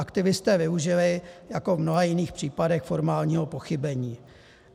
Aktivisté využili jako v mnoha jiných případech formálního pochybení.